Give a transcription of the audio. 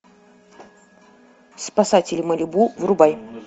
спасатели малибу врубай